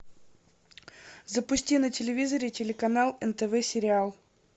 запусти на телевизоре телеканал нтв сериал